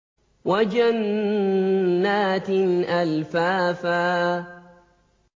وَجَنَّاتٍ أَلْفَافًا